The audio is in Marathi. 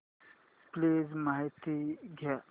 प्लीज माहिती द्या